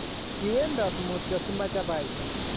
Kowendot motio si machapaita